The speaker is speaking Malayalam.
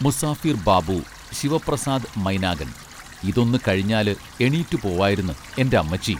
മുസാഫിർ ബാബു ശിവ പ്രസാദ് മൈനാഗൻ ഇതൊന്ന് കഴിഞ്ഞാല് എണീറ്റ് പോവായിരുന്ന് എന്റെ അമ്മച്ചീ